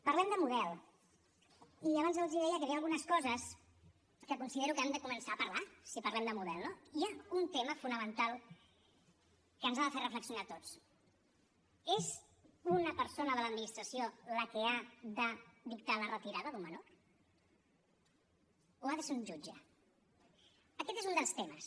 parlem de model i abans els deia que hi havia algunes coses que considero que hem de començar a parlar si parlem de model no hi ha un tema fonamental que ens ha de fer reflexionar a tots és una persona de l’administració la que ha de dictar la retirada d’un menor o ha de ser un jutge aquest és un dels temes